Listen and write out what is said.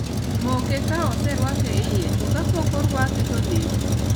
Moke ka oserwake iye to kapok orwake to neg